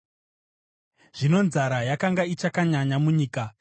Zvino nzara yakanga ichakanyanya munyika.